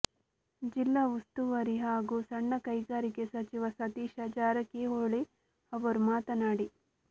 ಜಿಲ್ಲಾ ಉಸ್ತುವಾರಿ ಹಾಗೂ ಸಣ್ಣ ಕೈಗಾರಿಕೆ ಸಚಿವ ಸತೀಶ ಜಾರಕಿಹೊಳಿ ಅವರು ಮಾತನಾಡಿ